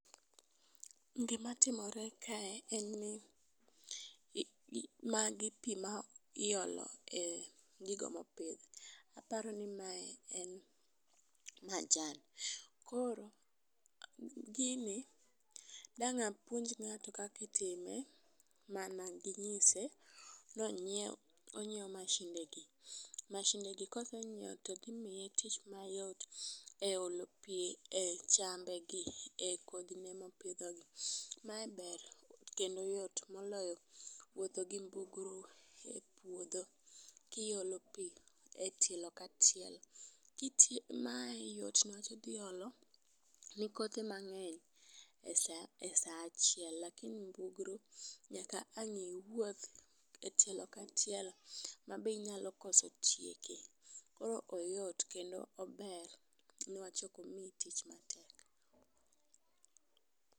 Gimatimore kae en ni i magi pii ma iolo e gigo mopidh. Aparo ni mae en majan. Koro gini dang'a puonj ng'ato kaki time mana gi nyise nonyiew onyiewo masinde gi .Masidne gi kosenyiweo to dhi miye tich mayot e olo pi e chambe gi e kodhi ne mopidho gi. Mae ber kendo yot moloyo wuotho gi mbugru e pouodho kiolo pii e tielo ka tielo. Kiti mae yot newach idhi olo ne kothe mangeny e saa achiel lakini mbugru nyaka wang iwuoth etielo ka tielo ma be inyalo kose tieko koro oyot kendo ober newach ok omiyi tich matek.